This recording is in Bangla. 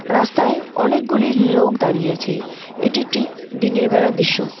রাস্তায় অনেকগুলি লোক দাঁড়িয়ে আছে এটি একটি দিনের বেলার দৃশ্য।